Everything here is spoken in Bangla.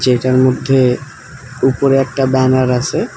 যেটার মধ্যে উপরে একটা ব্যানার আসে।